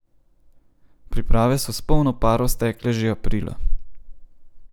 Priprave so s polno paro stekle že aprila.